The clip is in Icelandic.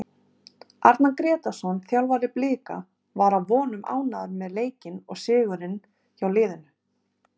Arnar Grétarsson þjálfari Blika var að vonum ánægður með leikinn og sigurinn hjá liðinu.